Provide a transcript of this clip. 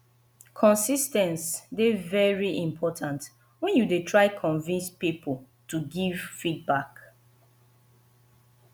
consis ten ce dey very important when you dey try convince pipo to give back